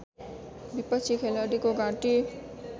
विपक्षी खेलाडीको घाँटी